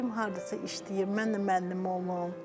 Gedim hardasa işləyim, mən də müəllim olum.